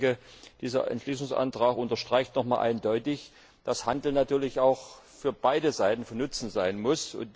Ich denke, dieser Entschließungsantrag unterstreicht noch mal eindeutig, dass Handel natürlich auch für beide Seiten von Nutzen sein muss.